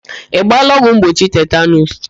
Ị gbaala ọgwụ mgbochi tetanuus?